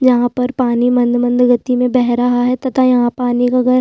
यहाँ पर पानी मंद-मंद गति में बह रहा है तथा यहाँ पानी का घर--